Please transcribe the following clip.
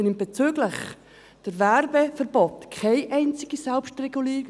Bezüglich des Werbungsverbots gibt es zum jetzigen Zeitpunkt keine Selbstregulierung.